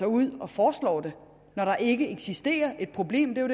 ud og foreslår det når der ikke eksisterer et problem det er